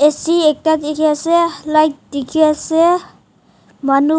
bishi ekta dikhiase light dikhiase manu